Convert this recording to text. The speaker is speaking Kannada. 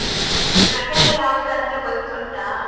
ಜಾಗ ಯಾವುದಂತ ಗೊತ್ತುಂಟಾ?